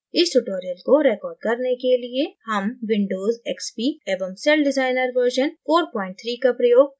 इस tutorial को record करने के लिये हम windows xp एवं celldesigner version 43 का प्रयोग कर रहे हैं